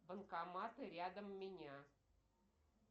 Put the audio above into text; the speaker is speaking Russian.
банкоматы рядом меня